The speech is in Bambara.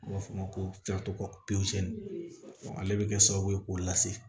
N b'a f'o ma ko ale bɛ kɛ sababu ye k'o lase